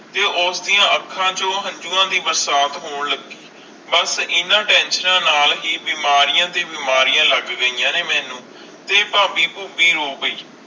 ਤੇ ਉਸ ਦੀਆ ਅੱਖਾਂ ਚੂ ਹੰਜੁਵਾ ਦੇ ਬਰਸਾਤ ਹੋਣ ਲਗੀ ਬਸ ਇੰਨਾ ਟੇਨਸ਼ਿਓਣਾ ਨਾਲ ਆਈ ਬੀਮਾਰੀਆਂ ਦੇ ਬੀਮਾਰੀਆਂ ਲੱਗ ਗਿਆ ਨੇ ਮੇਨੂ ਤੇ ਫਾਬੀ ਪਹੁਬੀ ਰੋ ਪੈ